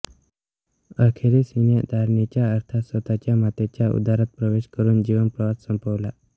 अखेरीस हिने धरणीच्या अर्थात स्वतःच्या मातेच्या उदरात प्रवेश करून जीवनप्रवास संपवला